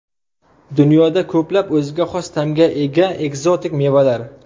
Dunyoda ko‘plab o‘ziga xos ta’mga ega ekzotik mevalar.